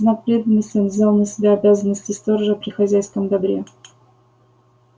в знак преданности он взял на себя обязанности сторожа при хозяйском добре